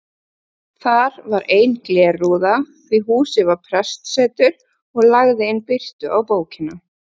Þar var ein glerrúða því húsið var prestsetur og lagði inn birtu á bókina.